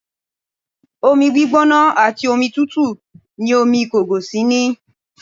Omi gbígbóná àti omi tútù ni omi ìkọgòsì ní